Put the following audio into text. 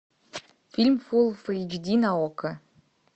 фильм фул эйч ди на окко